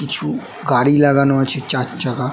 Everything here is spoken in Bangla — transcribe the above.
কিছু গাড়ি লাগানো আছে চারচাকা ।